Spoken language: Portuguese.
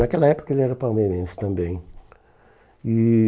Naquela época ele era palmeirense também. E